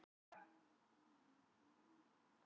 Krakkaskarinn mætti prúðbúinn og þvílík veisla.